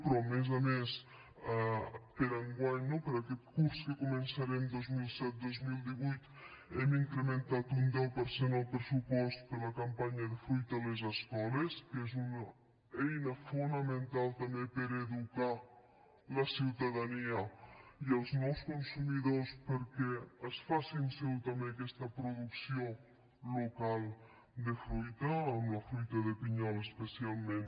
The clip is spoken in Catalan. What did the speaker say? però a més a més per a enguany no per a aquest curs que començarem dos mil disset dos mil divuit hem incrementat un deu per cent el pressupost per a la campanya de fruita a les escoles que és una eina fonamental també per a educar la ciutadania i els nous consumidors perquè es facin seva també aquesta producció local de fruita amb la fruita de pinyol especialment